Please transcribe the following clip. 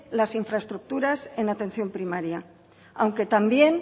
las infraestructuras en atención primaria aunque también